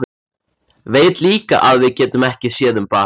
Veit líka að við getum ekki séð um barn.